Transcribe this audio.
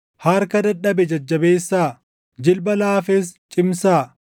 Harka dadhabe jajjabeessaa; jilba laafes cimsaa;